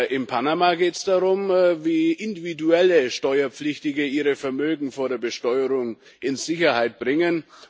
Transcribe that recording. In Panama geht es darum, wie individuelle Steuerpflichtige ihre Vermögen vor der Besteuerung in Sicherheit bringen.